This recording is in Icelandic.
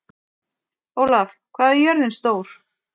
Ólaf, hvað er jörðin stór?